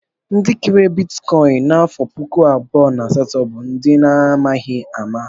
Ndị kere bitikọin n'afọ puku abụọ na asatọ bụ ndị a na-amaghi ama.